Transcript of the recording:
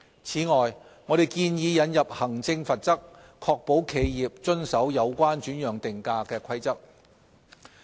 此外，我們建議引入行政罰則，確保企業遵守有關轉讓定價的規則。